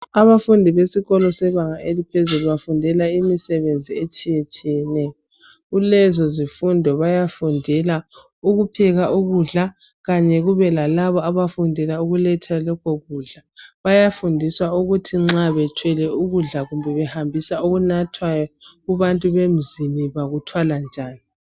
Abafundi besikolo sebanga eliphezulu bafundela imisebenzi etshiyetshiyeneyo. Kulezo zifundo bayafundela ukupheka ukudla kanye kube lalabo abafundela ukuletha lokho kudla. Bayafundiswa ukuthi nxa bethwele ukudla kumbe behambisa okunathwayo kubantu bemzini bakuthwala njani.